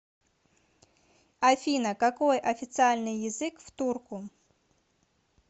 афина какой официальный язык в турку